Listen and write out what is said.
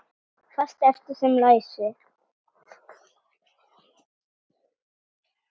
Fast efni sem leysir